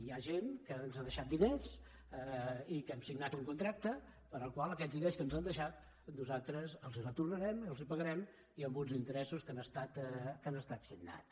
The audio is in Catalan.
hi ha gent que ens ha deixat diners i hem signat un contracte pel qual aquests diners que ens han deixat nosaltres els els retornarem els els pagarem i amb uns interessos que han estat signats